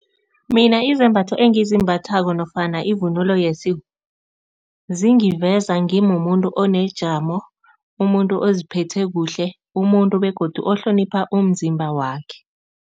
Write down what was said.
Mina izembatho engizimbathako nofana ivunulo yesintu zingiveza ngimumuntu onejamo, umuntu oziphethe kuhle, umuntu begodu ohlonipha umzimba wakhe.